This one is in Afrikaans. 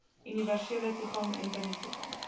universele toegang internettoegang